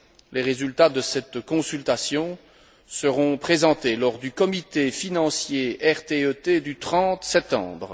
Les résultats de cette consultation seront présentés lors du comité financier RTE T du 30 septembre.